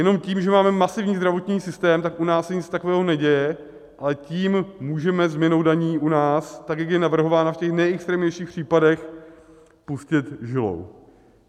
Jenom tím, že máme masivní zdravotní systém, tak u nás se nic takového neděje, ale tím můžeme, změnou daní u nás, tak jak je navrhována v těch nejextrémnějších případech, pustit žilou.